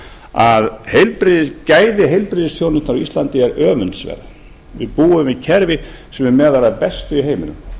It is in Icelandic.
að gæði heilbrigðisþjónustu á íslandi er öfundsverð við búum við kerfi sem er með þeim bestu í heiminum